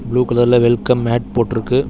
Blue கலர்ல welcome mat போட்ருக்கு.